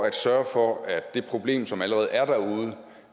at sørge for at det problem som allerede er derude